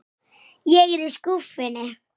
LÁRUS: Þetta er rétt bókun.